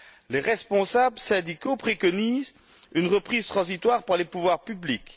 Les responsables syndicaux préconisent une reprise transitoire par les pouvoirs publics.